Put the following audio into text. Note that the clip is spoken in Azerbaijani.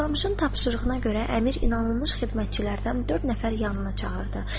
Toxtamışın tapşırığına görə əmir inanılmış xidmətçilərdən dörd nəfər yanına çağırdı.